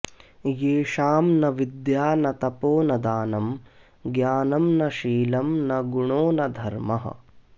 येषां न विद्या न तपो न दानं ज्ञानं न शीलं न गुणो न धर्मः